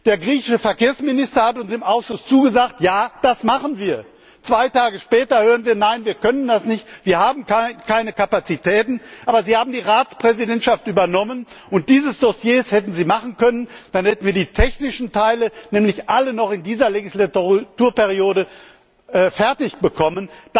Der griechische Verkehrsminister hat uns im Ausschuss zugesagt Ja, das machen wir. Zwei Tage später hören wir Nein, wir können das nicht, wir haben keine Kapazitäten. Aber Sie haben die Ratspräsidentschaft übernommen, und dieses Dossier hätten Sie machen können, dann hätten wir die technischen Teile nämlich alle noch in dieser Legislaturperiode fertigbekommen.